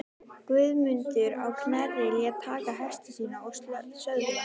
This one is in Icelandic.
Guðmundur á Knerri lét taka hesta sína og söðla.